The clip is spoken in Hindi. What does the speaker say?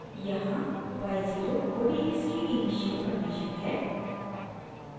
यहाँ y0 odes की इनिशियल कंडीशन है